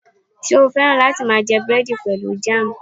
Ṣe o fẹ́ràn lati máa jẹ búrẹ́dì pẹlu jam?